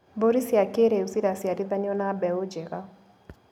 Mbũri cia kĩrĩu ciraciarithanio na mbeũ njega.